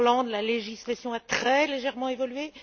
En Irlande, la législation a très légèrement évolué.